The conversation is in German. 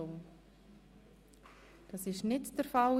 – Das ist nicht der Fall.